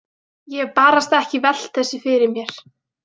Ég hef barasta ekki velt þessu fyrir mér.